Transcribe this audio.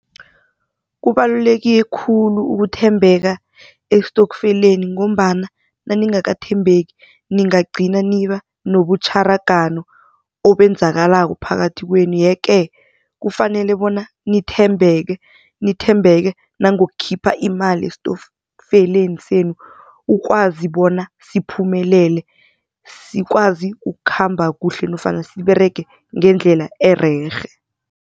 Kubaluleke khulu ukuthembeka estofkeleni ngombana naningakathembekeki ningagcina niba nobutjharagano obenzekako phakathi kwenu. Yeke, kufanele bona nithembeke nangokukhipha imali estofkeleni senu ukwazi bona siphumelele sikwazi ukukhamba kuhle nofana siberege ngendlela ererhe.